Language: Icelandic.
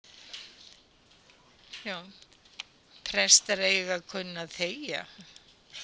Prestar eiga að kunna að þegja